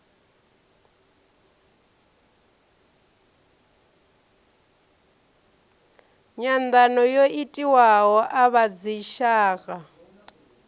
nyanḓano yo itiwaho a vhadzitshaka